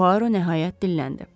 Puaro nəhayət dilləndi.